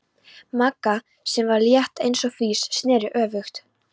Magga, sem var létt eins og fis, sneri öfugt.